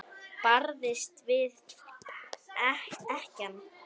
Barðist við ekkann.